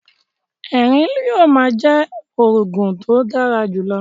Ẹrín yóò ma jẹ oògùn to dára jùlọ